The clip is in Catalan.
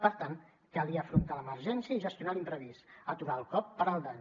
per tant calia afrontar l’emergència i gestionar l’imprevist aturar el cop parar el dany